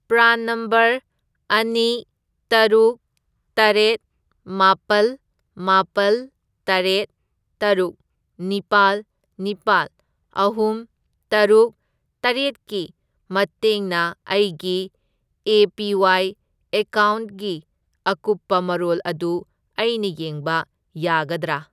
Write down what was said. PRAN number ꯑꯅꯤ, ꯇꯔꯨꯛ, ꯇꯔꯦꯠ, ꯃꯥꯄꯜ, ꯃꯥꯄꯜ, ꯇꯔꯦꯠ, ꯇꯔꯨꯛ, ꯅꯤꯄꯥꯜ, ꯅꯤꯄꯥꯜ, ꯑꯍꯨꯝ, ꯇꯔꯨꯛ, ꯇꯔꯦꯠꯀꯤ ꯃꯇꯦꯡꯅ ꯑꯩꯒꯤ ꯑꯦ.ꯄꯤ.ꯋꯥꯏ. ꯑꯦꯀꯥꯎꯅ꯭ꯠꯒꯤ ꯑꯀꯨꯞꯄ ꯃꯔꯣꯜ ꯑꯗꯨ ꯑꯩꯅ ꯌꯦꯡꯕ ꯌꯥꯒꯗ꯭ꯔꯥ?